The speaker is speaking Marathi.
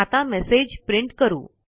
आता मेसेज प्रिंट करू